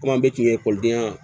Komi an bɛ kun ye ekɔlidenya